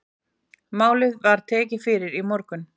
Málið var tekið fyrir í morgun